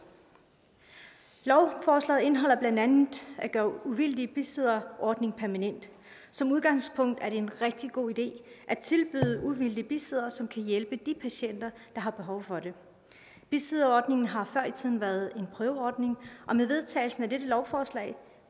lovforslaget indeholder blandt andet at gøre den uvildige bisidder ordning permanent som udgangspunkt er det en rigtig god idé at tilbyde uvildige bisiddere som kan hjælpe de patienter der har behov for det bisidderordningen har før i tiden været en prøveordning og med vedtagelsen af dette lovforslag